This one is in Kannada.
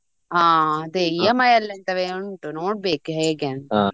ಹಾ ಅದೇ EMI ಅಲ್ಲಂತವೆ ಉಂಟು ನೋಡ್ಬೇಕು ಹೇಗೆ ಅಂತ .